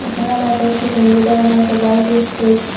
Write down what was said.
এখানে কয়েকটি সাইনবোর্ডও রাখা হয়েছে ভারতীয় স্টেট --